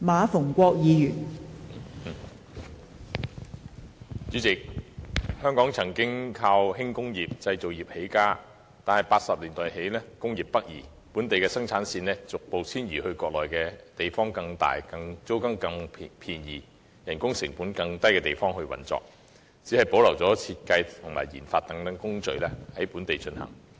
代理主席，香港依靠輕工業和製造業起家，但在1980年代起工業北移，本地生產線逐步遷移國內，在一些地方較大、租金較便宜及人工成本較低的地方運作，只保留設計和研發等工序在本地進行。